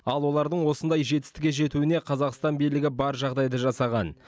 ал олардың осындай жетістікке жетуіне қазақстан билігі бар жағдайды жасаған